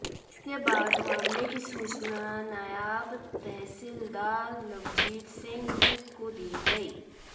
इसके बाद मामले की सूचना नायब तहसीलदार लवजीत सिंह विर्क को दी गई